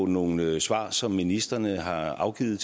nogle svar som ministrene har afgivet